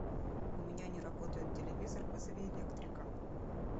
у меня не работает телевизор вызови электрика